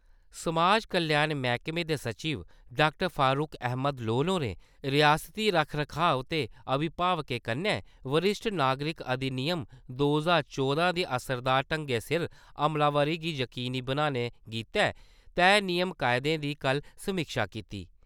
समाज कल्याण मैह्‌कमे दे सचिव डाक्टर फारुक अहमद लोन होरें रिआसती रख-रखाऽ ते अभिभावकें कन्नै वरिश्ठ नागरिक अधिनियम दो ज्हार चौदां दी असरदार ढंगै सिर अमलावरी गी यकीनी बनाने गितै तय नियम-कायदें दी कल समीक्षा कीती ।